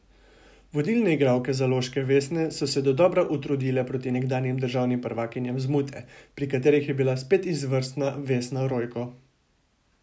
Vodilne igralke zaloške Vesne so se dodobra utrudile proti nekdanjim državnim prvakinjam z Mute, pri katerih je bila spet izvrstna Vesna Rojko.